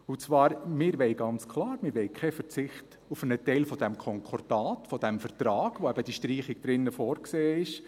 Und zwar: Wir wollen ganz klar keinen Verzicht auf einen Teil dieses Konkordats, dieses Vertrags, in dem eben diese Streichung vorgesehen ist.